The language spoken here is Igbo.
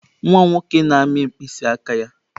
Nwa m nwoke na-amị mkpịsị aka ya.